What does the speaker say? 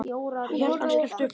Kjartan skellti upp úr.